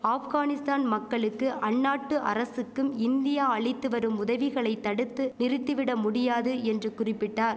ஆப்கானிஸ்தான் மக்களுக்கும் அந்நாட்டு அரசுக்கும் இந்தியா அளித்து வரும் உதவிகளை தடுத்து நிறுத்திவிட முடியாது என்று குறிபிட்டா